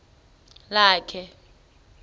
lakhe